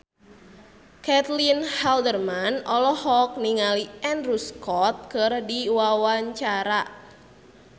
Caitlin Halderman olohok ningali Andrew Scott keur diwawancara